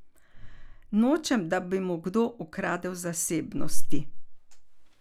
Nočem, da bi mu kdo ukradel zasebnosti.